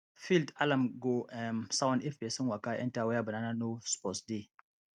field alarm go um sound if pesin waka enter where banana no suppose dey